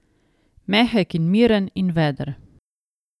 Mehek in miren in veder.